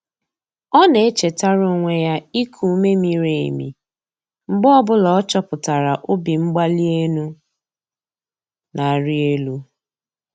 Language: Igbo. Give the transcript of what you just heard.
Ọ na-echetara onwe ya iku ume miri emi mgbe ọ bụla ọ chọpụtara obimgbalienu na-arị elu.